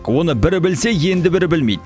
оны бірі білсе енді бірі білмейді